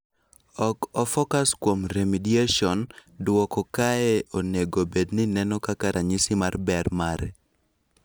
Ok o focus kuom remediation, duoko kae onego bedni neno kaka ranyisi mar ber mare.